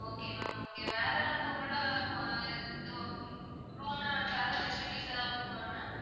okay ma'am okay வேற வந்து உங்களோட ஆஹ் இது ஹம் room ல வந்து வேற ஏதாவது facilities எதாவது இருக்கா ma'am